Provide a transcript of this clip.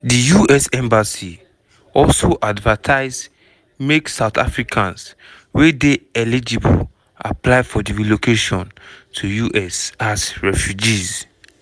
di us embassy also advertise makesouth africans wey dey eligible apply for di relocation to us as refugees.